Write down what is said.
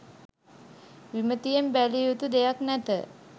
විමතියෙන් බැලිය යුතු දෙයක් නැත